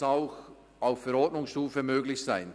dies sollte auch auf Verordnungsstufe möglich sein.